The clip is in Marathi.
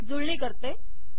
जुळणी करते